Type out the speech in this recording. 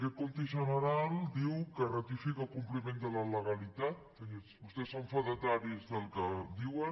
aquest compte general diu que ratifica el compliment de la legalitat que vostès són fedataris del que diuen